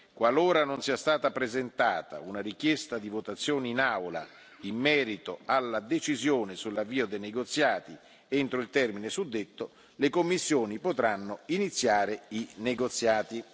Qualora non sia stata presentata una richiesta di votazione in Aula in merito alla decisione sull'avvio dei negoziati entro il termine suddetto, le commissioni potranno iniziare i negoziati.